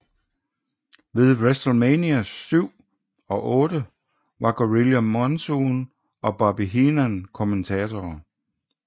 Ved WrestleMania VII og VIII var Gorilla Monsoon og Bobby Heenan kommentatorer